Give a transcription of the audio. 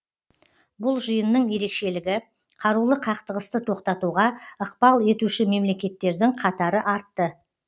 бұл жиынның ерекшелігі қарулы қақтығысты тоқтатуға ықпал етуші мемлекеттердің қатары артты